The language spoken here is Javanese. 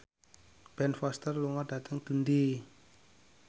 Ben Foster lunga dhateng Dundee